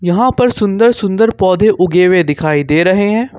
यहां पर सुंदर सुंदर पौधे उगे हुए दिखाई दे रहे हैं।